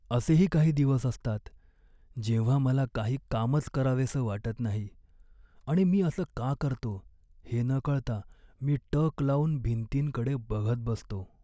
असेही काही दिवस असतात, जेव्हा मला काही कामच करावेसं वाटत नाही आणि मी असं का करतो हे न कळता मी टक लावून भिंतींकडे बघत बसतो.